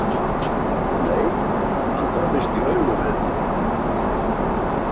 Nei, hann horfist í augu við mig.